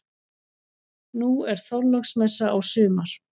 Nú er Þorláksmessa á sumar.